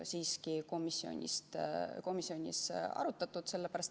Sellist küsimust komisjonis ei arutatud.